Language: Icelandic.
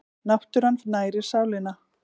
Náttúran nærir sálina